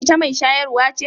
Ita mai shayarwa ce?